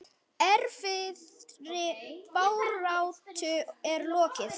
Erfiðri baráttu er lokið.